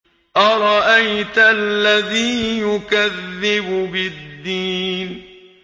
أَرَأَيْتَ الَّذِي يُكَذِّبُ بِالدِّينِ